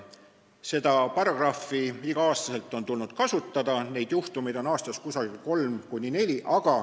Seda paragrahvi on tulnud igal aastal kasutada, neid juhtumeid on aastas kolm või neli.